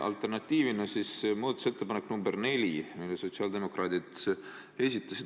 Alternatiivina pakun muudatusettepanekut nr 4, mille esitasid sotsiaaldemokraadid.